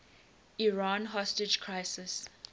iran hostage crisis